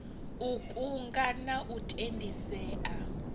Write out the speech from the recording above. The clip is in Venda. u kunga na u tendisea